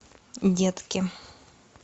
детки